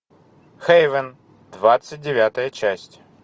хейвен двадцать девятая часть